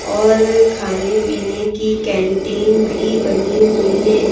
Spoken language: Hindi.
और खाने-पीने की कैंटीन भी बनी हुई हैं।